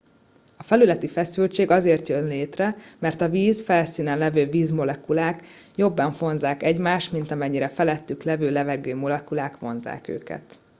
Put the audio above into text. felületi feszültség azért jön létre mert a víz felszínén lévő vízmolekulák jobban vonzzák egymást mint amennyire a felettük lévő levegőmolekulák vonzzák őket